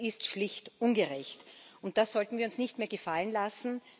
Das ist schlicht ungerecht, und das sollten wir uns nicht mehr gefallen lassen.